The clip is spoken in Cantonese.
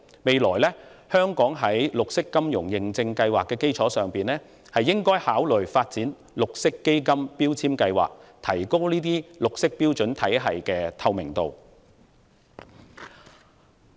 將來，香港應在綠色金融認證計劃的基礎上，考慮發展綠色基金標籤計劃，以提高綠色標準體系的透明度。